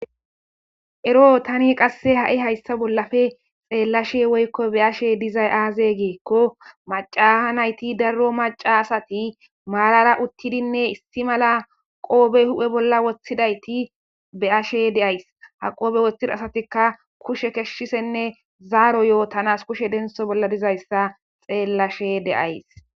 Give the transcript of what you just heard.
Eroo tani hayissa bollappe xellaashshe woyikko be'ashshe dizayi azee gikko macaa nayiti daro maca asati marara uttidinne issi mala qoppe uhhe bolla woththidayitti be'ashshe deyis .haa qoppe woththida asatikka kushshe kesishshenne zaro yotanas kushshe deniththo bolla deniththo dizayissa xeelashshe de'ayiss.